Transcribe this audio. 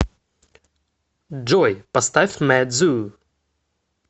джой поставь мэт зу